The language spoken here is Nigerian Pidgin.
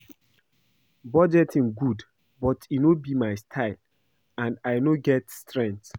Budgeting good but e no be my style and I no get strength